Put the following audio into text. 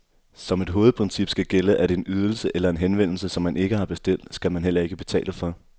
Som et hovedprincip skal gælde, at en ydelse eller en henvendelse, som man ikke har bestilt, skal man heller ikke betale for.